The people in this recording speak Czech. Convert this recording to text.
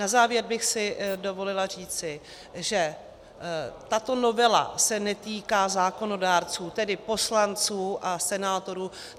Na závěr bych si dovolila říci, že tato novela se netýká zákonodárců, tedy poslanců a senátorů.